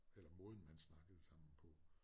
Eller måden man snakkede sammen på